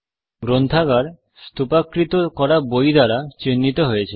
গ্রন্থাগার স্থুপাকৃত করা বই দ্বারা চিহ্নিত হয়েছে